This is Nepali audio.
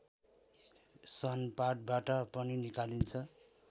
सनपाटबाट पनि निकालिन्छ